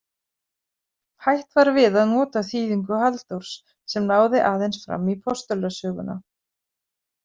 Hætt var við að nota þýðingu Halldórs, sem náði aðeins fram í Postulasöguna.